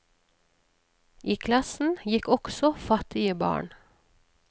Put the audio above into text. I klassen gikk også fattige barn.